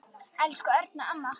Elsku Erna amma.